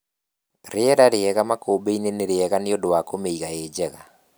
Rĩera rĩega makũmbĩinĩ nĩrĩega nĩundũ wa kũmĩiga ĩjega.